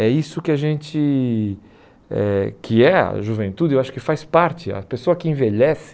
É isso que a gente, eh que é a juventude, eu acho que faz parte, a pessoa que envelhece